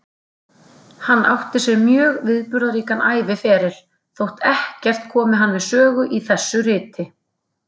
Hann átti sér mjög viðburðaríkan æviferil, þótt ekkert komi hann við sögu í þessu riti.